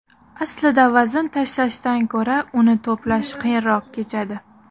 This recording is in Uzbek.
Aslida vazn tashlashdan ko‘ra uni to‘plash qiyinroq kechadi.